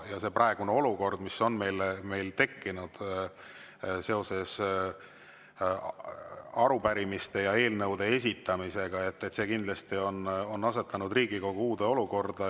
See praegune olukord, mis meil on tekkinud seoses arupärimiste ja eelnõude esitamisega, on kindlasti asetanud Riigikogu uude olukorda.